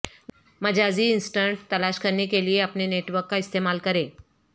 مجازی assistant تلاش کرنے کے لئے اپنے نیٹ ورک کا استعمال کریں